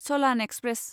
चलान express